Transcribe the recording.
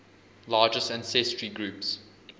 largest ancestry groups